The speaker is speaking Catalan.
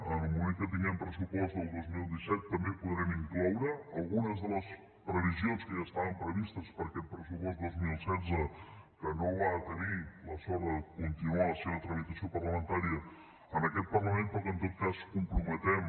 en el moment que tinguem pressupost del dos mil disset també podrem incloure algunes de les previsions que ja estaven previstes per a aquest pressupost dos mil setze que no va tenir la sort de continuar la seva tramitació parlamentària en aquest parlament però que en tot cas comprometem